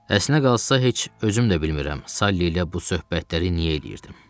Əslinə qalsa heç özüm də bilmirəm Salli ilə bu söhbətləri niyə eləyirdim.